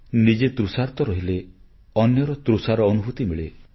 ନିଜେ ତୃଷାର୍ତ୍ତ ରହିଲେ ଅନ୍ୟର ତୃଷା ନେଇ ଅନୁଭୂତି ମିଳେ